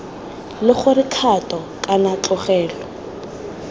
la gore kgato kana tlogelo